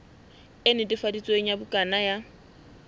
e netefaditsweng ya bukana ya